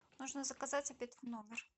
нужно заказать обед в номер